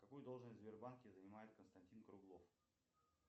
какую должность в сбербанке занимает константин круглов